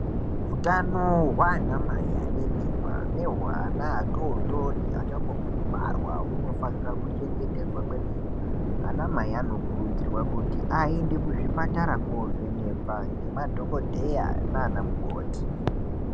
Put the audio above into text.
Utano hwaanamai ane mimba nehwe ana adodori achangobve kubarwa hunofanirwa kuchengetedzwa kwemene anamai anokurudzirwa kuti aende kuzvipatara kovhenekwa ngemadhokodheya nana mukoti.